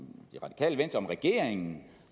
regeringen